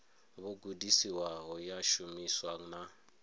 vho gudisiwaho ya shumiswa na